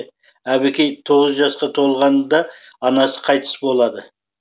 әбікей тоғыз жасқа толғанда анасы қайтыс болады